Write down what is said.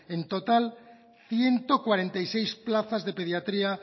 en total ciento cuarenta y seis plazas de pediatría